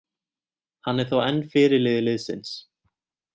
Hann er þó enn fyrirliði liðsins.